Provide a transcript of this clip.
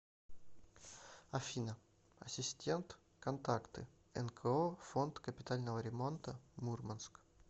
афина ассистент контакты нко фонд капитального ремонта мурманск